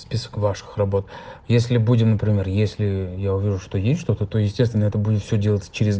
список ваших работ если будем например если я увижу что есть что-то то естественно это будет все делаться через